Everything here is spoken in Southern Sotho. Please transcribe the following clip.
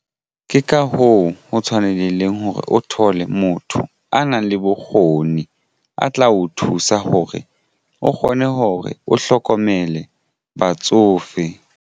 Ke ka hoo ho tshwanelehileng hore o thole motho a nang le bokgoni a tla o thusa hore o kgone hore o hlokomele batsofe.